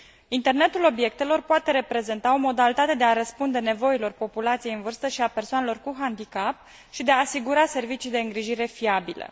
Internetul obiectelor poate reprezenta o modalitate de a răspunde nevoilor populației în vârstă și a persoanelor cu handicap și de a asigura servicii de îngrijire fiabile.